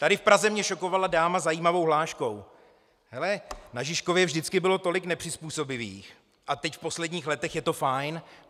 Tady v Praze mě šokovala dáma zajímavou hláškou: Hele, na Žižkově vždycky bylo tolik nepřizpůsobivých a teď v posledních letech je to fajn.